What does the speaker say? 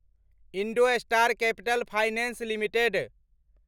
IndoStar capital finance limited